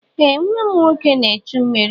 Ee nwa m nwoke na-echu mmiri.